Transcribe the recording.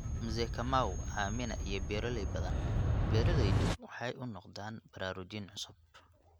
Mzee Kamau, Amina, iyo beeralay badan, beeralaydu waxay u noqdeen baraarujin cusub.